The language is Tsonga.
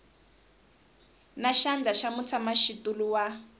na xandla xa mutshamaxitulu wa